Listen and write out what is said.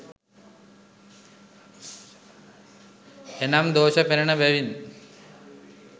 එනම් දෝෂ පෙනෙන බැවින්